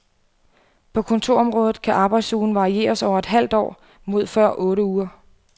På kontorområdet kan arbejdsugen varieres over et halvt år mod før otte uger.